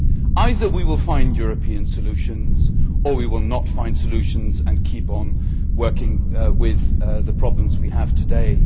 Either we will find European solutions, or we will not find solutions and keep on working with the problems we have today.